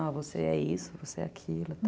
Ah, você é isso, você é aquilo, tal.